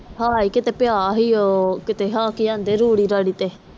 ਹੈ ਕੀਤੇ ਪਿਆ ਸੀ ਉਹ ਕੀਤੇ ਕਿ ਅੰਡੇ ਰੂੜੀ ਰਾੜੀ ਤੇ